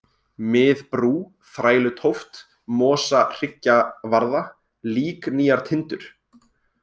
Mið-Brú, Þrælutóft, Mosahryggjavarða, Líknýjartindur